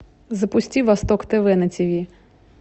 запусти восток тв на тиви